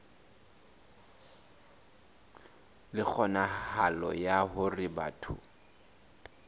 le kgonahalo ya hore batho